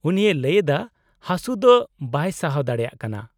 -ᱩᱱᱤᱭ ᱞᱟᱹᱭ ᱮᱫᱟ, ᱦᱟᱹᱥᱩ ᱫᱚ ᱵᱟᱭ ᱥᱟᱦᱟᱣ ᱫᱟᱲᱮᱭᱟᱜ ᱠᱟᱱᱟ ᱾